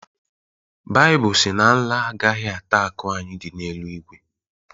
Baịbụl sị na nla agaghị ata akụ anyị dị n’eluigwe